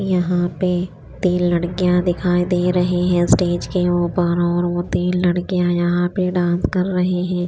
यहा पे तिन लडकिया दिखाई दे रही है स्टेज के उपर और वो तिन लडकिया यहा पे डांस कर रही है।